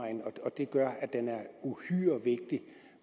det gør at det er uhyre vigtigt